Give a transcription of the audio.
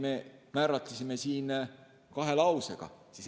Me määratlesime need kahe lausega.